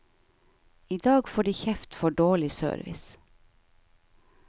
I dag får de kjeft for dårlig service.